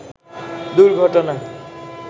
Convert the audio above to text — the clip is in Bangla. দুর্ঘটনা